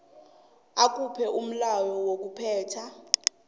akhuphe umlayo wokuphetha